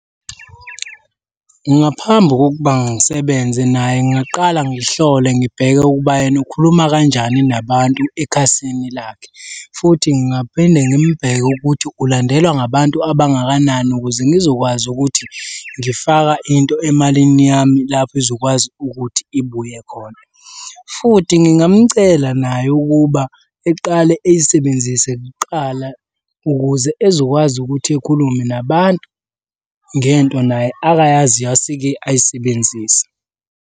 Ngaphambi kokuba ngisebenze naye ngingaqala ngihlole ngibheke ukuba yena ukhuluma kanjani nabantu ekhasini lakhe, futhi ngingaphinde ngimbheke ukuthi ulandelwa ngabantu abangakanani ukuze ngizokwazi ukuthi ngifaka into emalini yami lapho izokwazi ukuthi ibuye khona, futhi ngingamcela naye ukuba eqale eyisebenzise kuqala ukuze ezokwazi ukuthi ekhulume nabantu ngento naye akayaziyo aseke ayisebenzise.